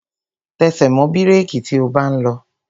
Tẹsẹ̀ mọ́ bírèki tí o bá ń lọ!